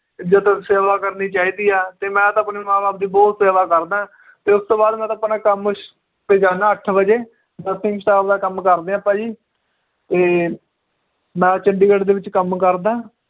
ਇੱਜਤ ਸੇਵਾ ਕਰਨੀ ਚਾਹੀਦੀ ਆ ਤੇ ਮੈ ਤਾਂ ਆਪਣੇ ਮਾਂ ਬਾਪ ਦੀ ਬਹੁਤ ਸੇਵਾ ਕਰਦਾਂ ਤੇ ਉਸ ਤੋਂ ਬਾਅਦ ਮੈ ਤਾਂ ਆਪਣਾ ਕੰਮ ਤੇ ਜਾਨਾ ਅੱਠ ਵਜੇ ਦਾ ਕੰਮ ਕਰਦੇ ਆਪਾਂ ਜੀ ਇਹ ਮੈ ਚੰਡੀਗੜ੍ਹ ਦੇ ਵਿਚ ਕੰਮ ਕਰਦਾਂ